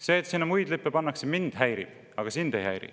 See, et sinna muid lippe pannakse, mind häirib, aga sind ei häiri.